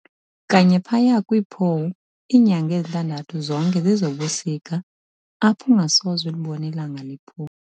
Kanye phaya kwi"pole", inyanga ezintandathu zonke zezobusika apho ungasoze ulibone ilanga liphuma.